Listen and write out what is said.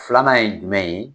Filanan ye jumɛn ye?